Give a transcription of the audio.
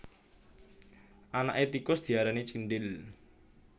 Anaké tikus diarani cindhil